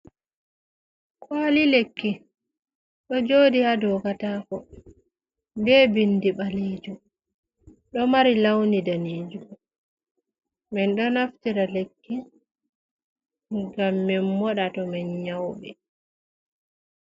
Kooli lekki ɗo jooɗi haa dow kataako, be binndi ɓaleejum ɗo mari lawni daneejum. Min ɗo naftira lekki ngam min moɗa to min nyawɓe.